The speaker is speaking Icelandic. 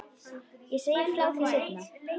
Ég segi frá því seinna.